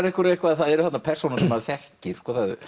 ykkur eitthvað að það eru þarna persónur sem maður þekkir